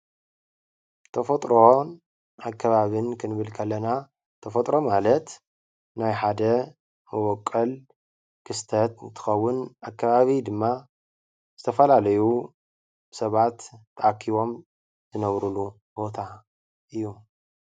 ተፈጥሮን ኣከባብን ክንብል ከለና ተፈጥሮ ማለት ናይ ሓደ መቦቆል ክስተት እንትከዉን ኣከባቢ ድማ ዝተፈላለዩ ሰባት ተኣኪቦም ዝነብርሉ ቦታ እዩ።